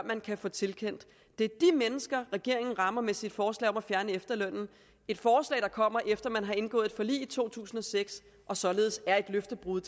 man kan få tilkendt det er de mennesker regeringen rammer med sit forslag om at fjerne efterlønnen et forslag der kommer efter man har indgået et forlig i to tusind og seks og således er et løftebrud